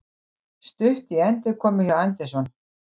Stutt í endurkomu hjá Anderson